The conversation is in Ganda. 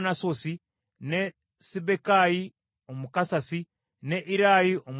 ne Sibbekayi Omukusasi, ne Irayi Omwakowa,